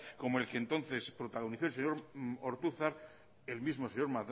como el que entonces protagonizó el señor ortuzar el mismo señor